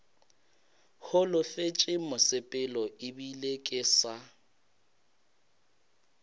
holofetše mosepelo ebile ke sa